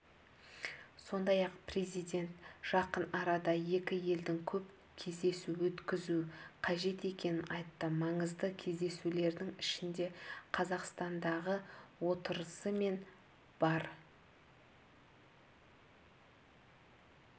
сондай-ақ президент жақын арада екі елдің көп кездесу өткізу қажет екенін айтты маңызды кездесулердің ішінде қазақстандағы отырысы мен бар